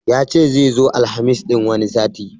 Yace zai zo Alhamis ɗin wani sati